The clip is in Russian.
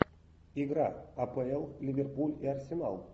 игра апл ливерпуль и арсенал